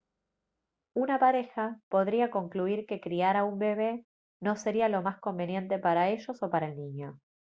una pareja podría concluir que criar a un bebé no sería lo más conveniente para ellos o para el niño